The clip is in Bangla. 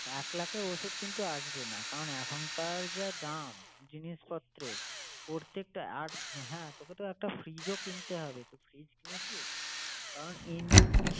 এক লাখে ওষুধ কিন্তু আসবে না। কারন এখনকার যা দাম জিনিসপত্রের প্রত্যেকটা, আর হ্যাঁ তোকে তো একটা fridge ও কিনতে হবে। তো fridge কিনেছিস? কারন injec~